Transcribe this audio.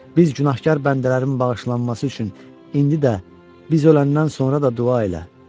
Biz günahkar bəndələrin bağışlanması üçün indi də biz öləndən sonra da dua elə.